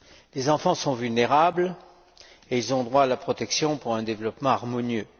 Les enfants sont vulnérables, et ils ont droit à la protection pour un développement harmonieux.